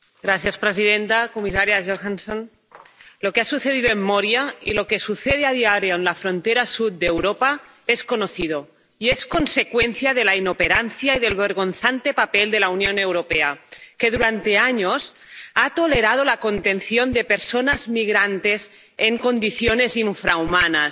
Señora presidenta, señora comisaria Johansson, lo que ha sucedido en Moria y lo que sucede a diario en la frontera sur de Europa es conocido. Y es consecuencia de la inoperancia y del vergonzante papel de la Unión Europea, que, durante años, ha tolerado la contención de personas migrantes en condiciones infrahumanas.